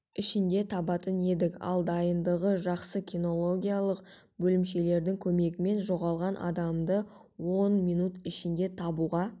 ішінде табатын едік ал дайындығы жақсы кинологиялық бөлімшелердің көмегімен жоғалған адамдарды он минут ішінде табуға